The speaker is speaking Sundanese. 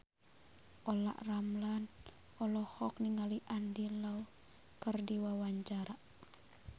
Olla Ramlan olohok ningali Andy Lau keur diwawancara